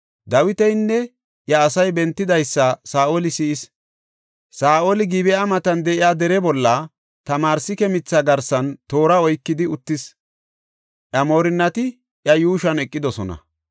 Dawitinne iya asay bentidaysa Saa7oli si7is. Saa7oli Gib7a matan de7iya dere bolla, tamarsike mitha garsan toora oykidi uttis; iya moorinnati iya yuushuwan eqidosona.